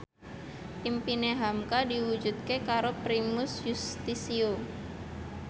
impine hamka diwujudke karo Primus Yustisio